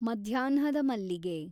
ಮದ್ಯಾಹ್ನದ ಮಲ್ಲಿಗೆ